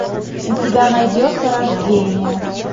у тебя найдется рождение